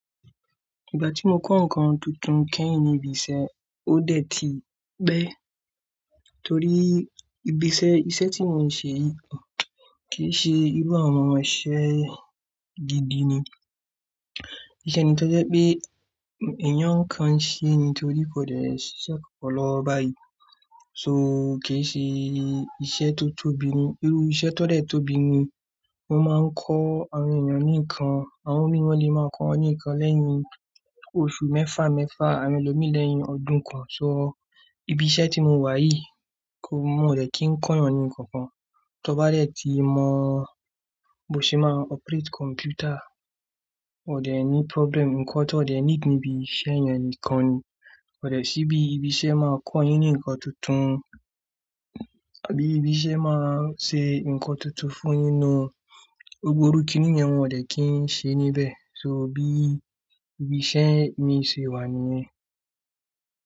Ìgbà tí mo kọ́ nǹkan tuntun kẹ́yìn ní ibi iṣẹ́, ó dẹ̀ ti pẹ́ torí ibi iṣẹ́, iṣẹ́ tí mo ń ṣe yìí kì í ṣe irú àwọn iṣẹ́ gidi ni. Iṣẹ́ ni tó jẹ́ pé èèyàn kan ṣe ni torí kò dẹ́ si iṣẹ́ kankan lọwo báyìí. So kì í ṣe iṣẹ́ tó tóbi ni. Irú iṣẹ́ tó dẹ̀ tóbi ni wọ́n máa ń kọ́ àwọn èèyàn ní nǹkan, àwọn míì wọ́n lè máa ń kọ́ ọ ní nǹkan lẹ́yìn oṣù mẹ́fà mẹ́fà àwọ́n elomi lẹ́yìn ọdún kan. So ibi iṣẹ́ tí mo wà yìí kò, n wòn o dẹ́ kìn kọ́ ẹni kankan. Tọ bá dẹ̀ ti mọ bó ṣe máa operate computer, o dẹ ní problem, nǹkan tó dẹ̀ ní need níbi iṣẹ́ èèyàn nìkan ni. Ko dẹ̀ sí bí ibi iṣẹ́ máa kọ yín ní nǹkan tuntun àbí ibi iṣẹ́ máa ṣe nǹkan tuntun fún yín ni. Gbogbo irú kiní yẹn wọn dẹ̀ kín ṣe níbẹ̀. So bí ibi iṣẹ́ mi ṣe wà nìyẹn.